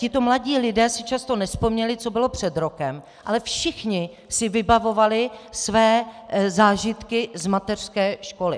Tito mladí lidé si často nevzpomněli, co bylo před rokem, ale všichni si vybavovali své zážitky z mateřské školy.